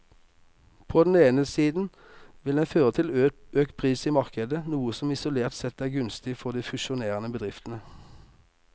På den ene siden vil den føre til økt pris i markedet, noe som isolert sett er gunstig for de fusjonerende bedriftene.